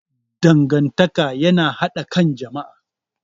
Dangantaka yana haɗa ƙan jama'a.